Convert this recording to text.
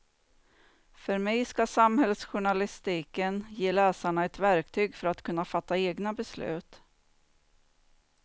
För mig ska samhällsjournalistiken ge läsarna ett verktyg för att kunna fatta egna beslut.